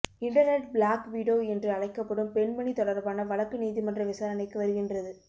internet black widow என்று அழைக்கப்படும் பெண்மணி தொடர்பான வழக்கு நீதிமன்ற விசாரணைக்கு வருகின்றது